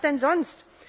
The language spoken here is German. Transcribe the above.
Was denn sonst!